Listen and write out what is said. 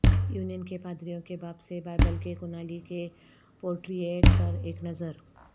union کے پادریوں کے باب سے بائبل کے کنللی کے پورٹریٹ پر ایک نظر